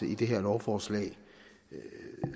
i det her lovforslag